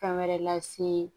Fɛn wɛrɛ lase